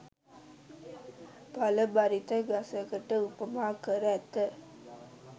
ඵල බරිත ගසකට උපමා කර ඇත.